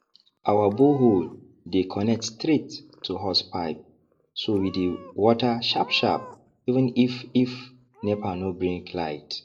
our borehole dey connect straight to horsepipe so we dey water sharpsharp even if if nepa no bring light